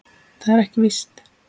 Það er ekki víst.